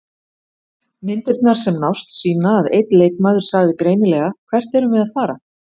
Myndirnar sem nást sýna að einn leikmaður sagði greinilega: Hvert erum við að fara?